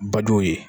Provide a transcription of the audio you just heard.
Baduw ye